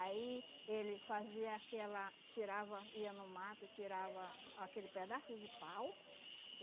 Aí ele fazia aquela, tirava, ia no mato e tirava aquele pedaço de pau.